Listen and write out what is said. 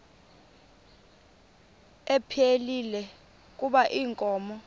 ephilile kuba inkomo